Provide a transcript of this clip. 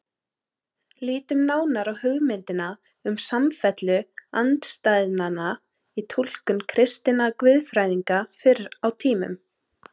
Lítum nánar á hugmyndina um samfellu andstæðnanna í túlkun kristinna guðfræðinga fyrr á tímum.